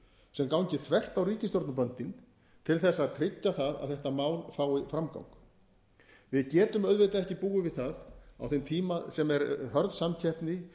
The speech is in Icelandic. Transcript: sem gangi þvert á ríkisstjórnar til þess að tryggja það að þetta mál fái framgang við getum auðvitað ekki búið við það á þeim tíma sem er hörð samkeppni